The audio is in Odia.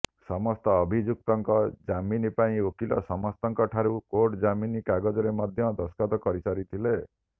ସମସ୍ତ ଅଭିଯୁକ୍ତଙ୍କ ଜାମିନ ପାଇଁ ଓକିଲ ସମସ୍ତଙ୍କଠାରୁ କୋର୍ଟ ଜାମିନ କାଗଜରେ ମଧ୍ୟ ଦସ୍ତଖତ କରିସାରିଥିଲେ